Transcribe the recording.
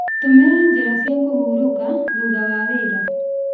Tũmĩra njĩra cia kũhurũka thutha wa wĩra.